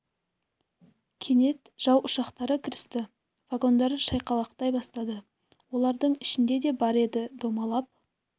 кенет жау ұшақтары кірісті вагондар шайқалақтай бастады олардың ішінде де бар еді домалап